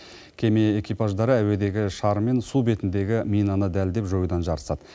кеме экипаждары әуедегі шар мен су бетіндегі минаны дәлдеп жоюдан жарысады